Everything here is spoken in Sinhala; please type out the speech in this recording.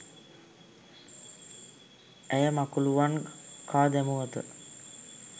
ඇය මකුලූවන් කා දැමුවත